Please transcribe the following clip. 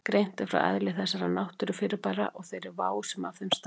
Greint er frá eðli þessara náttúrufyrirbæra og þeirri vá sem af þeim stafar.